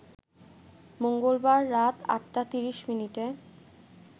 মঙ্গলবার রাত ৮টা ৩০মিনিটে